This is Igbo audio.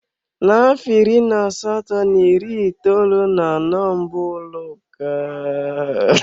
N'afọ iri na asatọ na iri itoolu na anọ mbụ ụlọ akụ bịara Naịjirịa.